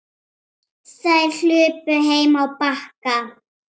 Þær hlupu heim á Bakka.